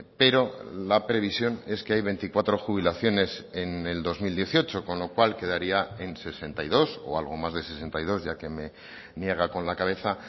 pero la previsión es que hay veinticuatro jubilaciones en el dos mil dieciocho con lo cual quedaría en sesenta y dos o algo más de sesenta y dos ya que me niega con la cabeza